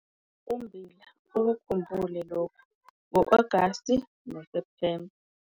UMMBILA - ukukhumbule lokhu ngo-Agasti noSepthemba